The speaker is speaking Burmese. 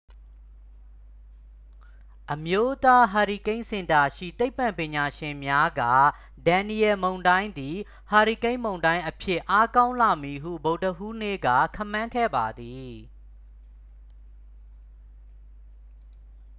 အမျိုးသားဟာရီကိန်းစင်တာရှိ သိပ္ပံပညာရှင်များက ဒန်နီယယ်လ် မုန်တိုင်းသည် ဟာရီကိန်းမုန်တိုင်းအဖြစ် အားကောင်းလာမည်ဟု ဗုဒ္ဓဟူးနေ့က ခန့်မှန်းခဲ့ပါသည်